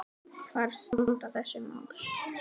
Hvar standa þessi mál?